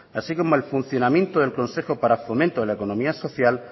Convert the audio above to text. así como el funcionamiento del consejo para fomento de la economía social